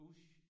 Bush